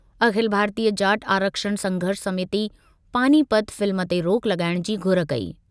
अखिल भारतीय जाट आरक्षण संघर्ष समिति पानीपत फ़िल्म ते रोक लॻाइणु जी घुर कई।